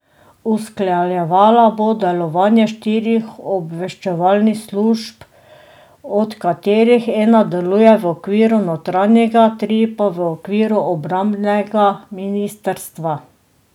Usklajevala bo delovanje štirih obveščevalnih služb, od katerih ena deluje v okviru notranjega, tri pa v okviru obrambnega ministrstva.